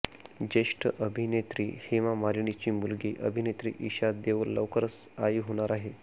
ज्येष्ठ अभिनेत्री हेमा मालिनीची मुलगी अभिनेत्री इशा देओल लवकरच आई होणार आहे